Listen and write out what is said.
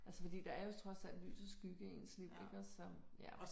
Altså fordi der er jo trods alt lys og skygge i ens liv iggås så ja